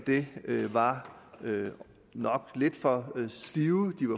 det nok var lidt for stive